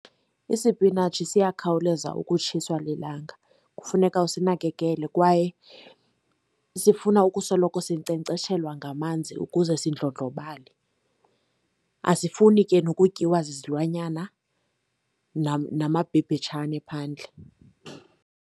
Isipinatshi siyakhawuleza ukutshiswa lilanga. Kufuneka usinakekele kwaye sifuna ukusoloko sinkcenkceshelwa ngamanzi ukuze zindlondlobale. Asifuni ke nokutyiwa zizilwanyana, namabhebhetshane phandle.